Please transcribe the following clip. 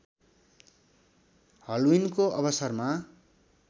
हल्विनको अवसरमा